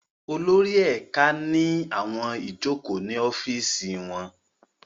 Olórí ẹ̀ka ní àwọn ìjókòó ní ọ́fìsì wọn